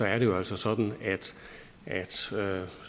er det jo altså sådan